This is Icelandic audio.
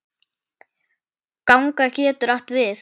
Ganga getur átt við